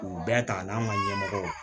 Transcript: K'u bɛɛ ta n'an ka ɲɛmɔgɔ ye